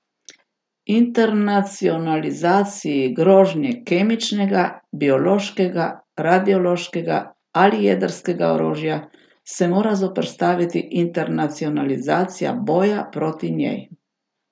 Internacionalizaciji grožnje kemičnega, biološkega, radiološkega ali jedrskega orožja se mora zoperstaviti internacionalizacija boja proti njej.